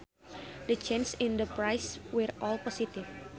The changes in the prices were all positive